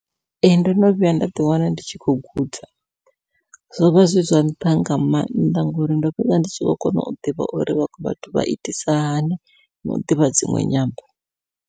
Ee ndo no vhuya nda ḓi wana ndi tshi khou guda, zwovha zwi zwa nṱha nga maanḓa ngori ndo fhedza ndi tshi kho kona u ḓivha uri vhaṅwe vhathu vha itisa hani nau ḓivha dziṅwe nyambo.